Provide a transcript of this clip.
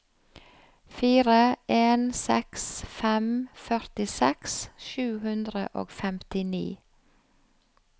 fire en seks fem førtiseks sju hundre og femtini